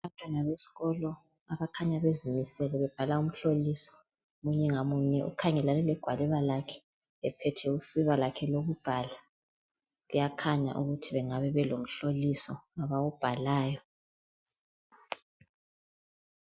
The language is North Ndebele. Abantwana besikolo abakhanya bezimisele bebhala umhloliso munye ngamunye kukhanya ukhangelane legwaliba lakhe ephethe usiba lwakhe olokubhala kuyakhanya ukuthi bengaba be lomhloliso abawubhalayo